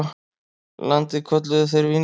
Landið kölluðu þeir Vínland.